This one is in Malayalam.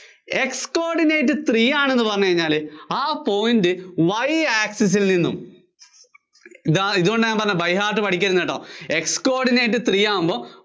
x coordinate three ആണെന്ന് പറഞ്ഞുകഴിഞ്ഞാല് ആ point Y access ല്‍ നിന്നും, ദാ ഇതുകൊണ്ടാ ഞാന്‍ പറഞ്ഞേ by hear t പഠിക്കരുതെന്ന് കേട്ടോ X Coordinate three ആകുമ്പോ